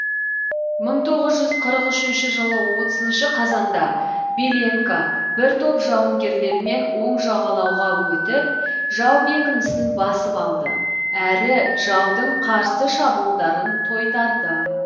мың тоғыз жүз қырық үшінші жылы отызыншы қазанда беленко бір топ жауынгерлермен оң жағалауға өтіп жау бекінісін басып алды әрі жаудың қарсы шабуылдарын тойтарды